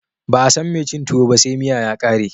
Ba'a San mai cin tuwo ba sai miya ya kare.